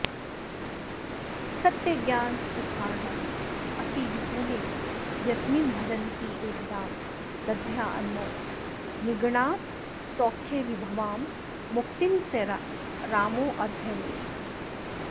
सत्यज्ञानसुखार्णवेऽतिविपुले यस्मिन् भजन्त्येकदां दद्यान्मौनिगणात्तसौख्यविभवां मुक्तिं स रामोऽद्य मे